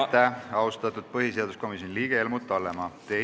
Aitäh, austatud põhiseaduskomisjoni liige Helmut Hallemaa!